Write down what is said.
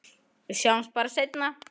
Við sjáumst bara seinna.